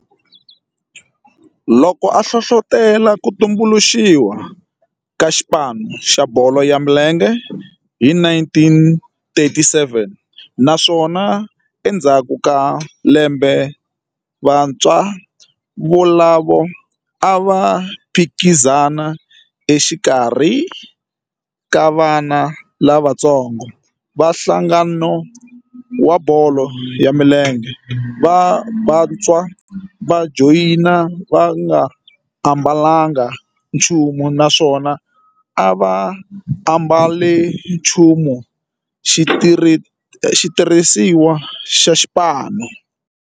loko a hlohlotela ku tumbuluxiwa ka xipano xa bolo ya milenge hi 1937 naswona endzhaku ka lembe vantshwa volavo a va phikizana exikarhi ka vana lavatsongo va nhlangano wa bolo ya milenge wa Bantu wa Joni va nga ambalanga nchumu naswona va nga ambalanga nchumu xitirhisiwa xa xipano.